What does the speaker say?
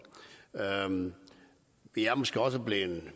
vi er måske også blevet